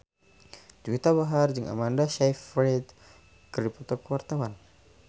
Juwita Bahar jeung Amanda Sayfried keur dipoto ku wartawan